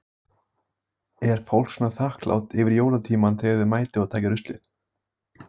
Lillý Valgerður: Er fólk svona þakklátt yfir jólatímann þegar þið mætið og takið ruslið?